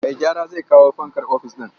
Mai gyara zai kawo fankar ofis ɗin.